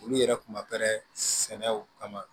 Olu yɛrɛ kun ma sɛnɛw kama